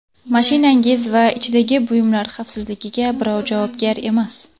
Mashinangiz va ichidagi buyumlar xavfsizligiga birov javobgar emas.